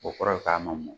O kɔrɔ ye k'a ma mɔn